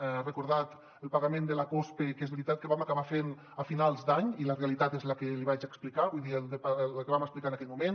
ha recordat el pagament de la cospe que és veritat que el vam acabar fent a finals d’any i la realitat és la que li vaig explicar vull dir la que vam explicar en aquell moment